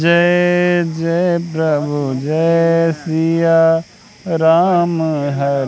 जय जय प्रभु जय सिया राम ह--